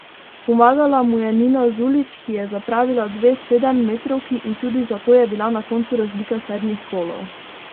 Pomagala mu je Nina Zulić, ki je zapravila dve sedemmetrovki in tudi zato je bila na koncu razlika sedmih golov.